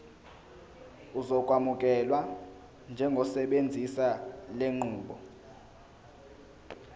uzokwamukelwa njengosebenzisa lenqubo